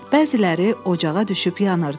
Bəziləri ocağa düşüb yanırdı.